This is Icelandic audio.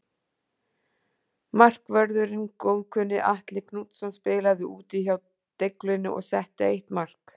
Markvörðurinn góðkunni Atli Knútsson spilaði úti hjá Deiglunni og setti eitt mark.